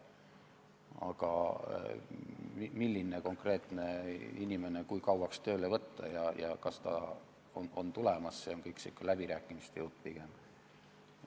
Aga milline konkreetne inimene kui kauaks tööle võtta ja kas ta on tööle tulemas, see on kõik pigem läbirääkimiste jutt.